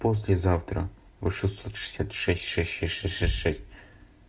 послезавтра в шестьсот шестьдесят шесть шесть шесть шесть шесть шесть